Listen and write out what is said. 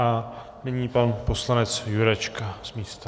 A nyní pan poslanec Jurečka z místa.